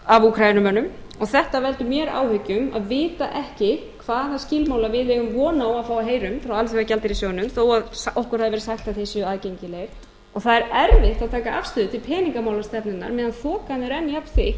af ukrainumönnum og þetta veldur mér áhyggjum að vita ekki hvaða skilmála við eigum von á að fá að heyra um frá alþjóðagjaldeyrissjóðnum þó okkur hafi verið sagt að þeir séu aðgengilegir það er erfitt að taka afstöðu til peningamálastefnunnar meðan þokan er enn jafnþykk